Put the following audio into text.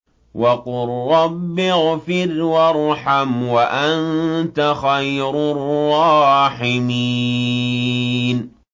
وَقُل رَّبِّ اغْفِرْ وَارْحَمْ وَأَنتَ خَيْرُ الرَّاحِمِينَ